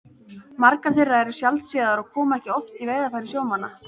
Margar þeirra eru sjaldséðar og koma ekki oft í veiðarfæri sjómanna.